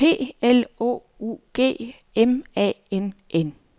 P L O U G M A N N